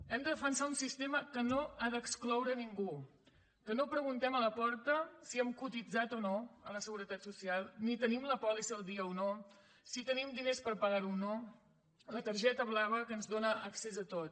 hem de defensar un sistema que no ha d’excloure ningú que no preguntem a la porta si hem cotitzat o no a la seguretat social ni si tenim la pòlissa al dia o no si tenim diners per pagar ho o no la targeta blava que ens dóna accés a tot